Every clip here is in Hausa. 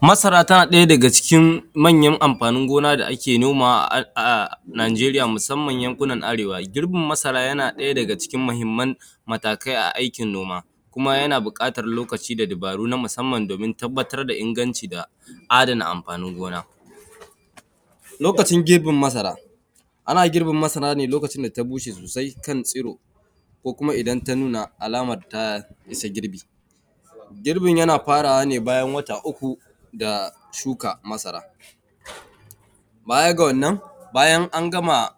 Masara tana ɗaya daga cikin manyan amfanin gona da ake nomawa a Najeriya musamman yankunan arewa, girbin masara yana ɗaya daga cikin mahimman matakai a aikin noma kuma yan buƙatan lokaci da dibaru na musamman domin tabbatar da inganci da adana amfanin gona, lokacin girbin masara, ana girbe masara ne lokacin da ta bushe sosaikan tsiro ko kuma idan ta nuna alaman ta isa girbi, girbin yana farawa ne bayan wata uku da shuka masara, baya ga wannan bayan an gama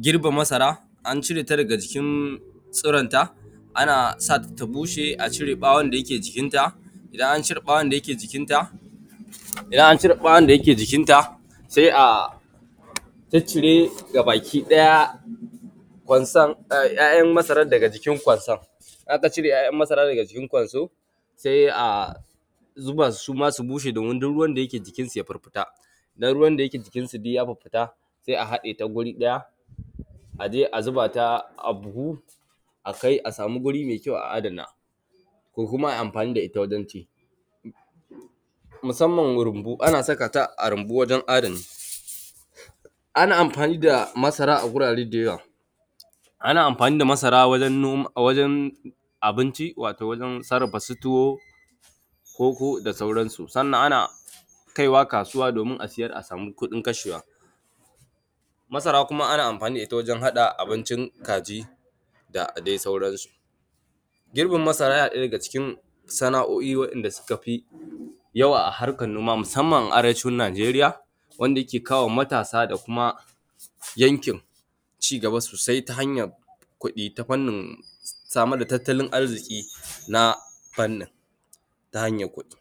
girbe masara an cire ta daga jikin tsiron ta ana sata ta bushe a cire ɓawon da yake jikin ta idan an cire ɓawon da yake jikin ta idan an cire ɓawon da yake jikin ta sai a ciccire gabaki ɗaya ƙwansan `ya`yan masaran daga jikin ƙwansan idan aka cire `ya`yan masaran daga jikin ƙwansan sai a zuba suma su bushe domin duk ruwan da yake jikin su ya firfita idan ruwan da yake jikin su duk ya firfita sai a haɗe ta wuri ɗaya aje a zuba ta a buhu a kai a samu wuri mai kyau a adana ko kuma ai amfani da ita wajen ci musamman rumbu ana saka ta a rumbu wajen adana, ana mafani da masara a gurare da yawa, ana amfani da masara wajen nom wajen abinci wato wajen sarrafa su tuwo, koko da sauran su, sannan ana kaiwa kasuwa domin a saryar a samu kuɗin kashewa,, masara kuma ana amfani da ita wajen haɗa abincin kaji da dai sauran su, girbin masara yana ɗaya daga cikin sana`o`in waɗanda suka fi yawa a harkan noma musamman a arewacin Najeriya wanda yake kawowa matasa da kuma yankin cigaba sosai ta hanyan kuɗi ta fannin samar da tattalin arziƙi na fannin ta hanyan kuɗi.